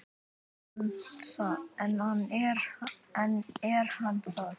En er hann það?